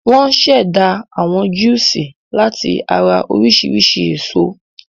Wọ́n ṣẹ̀dá àwọn júúsì láti ara oríṣiríṣi èso.